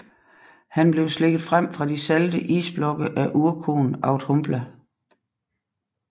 Han blev slikket frem fra de salte isblokke af urkoen Audhumbla